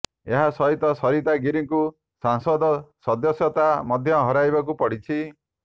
ଏହା ସହିତ ସରିତା ଗିରିଙ୍କୁ ସଂସଦ ସଦସ୍ୟତା ମଧ୍ୟ ହରାଇବାକୁ ପଡିଛି